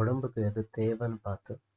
உடம்புக்கு எது தேவைன்னு பாத்து